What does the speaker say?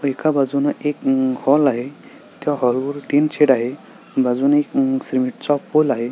एका बाजूने एक हॉल आहे त्या हॉल वर टिन शेड आहे बाजूने म् एक सीमेंटचा पोल आहे.